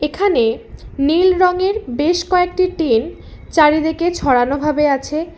এখানে নীল রঙের বেশ কয়েকটি টিন চারিদিকে ছড়ানো ভাবে আছে।